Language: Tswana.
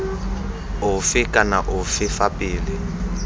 ofe kana ofe fa pele